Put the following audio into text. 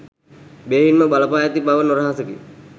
බෙහෙවින්ම බලපා ඇති බව නොරහසකි.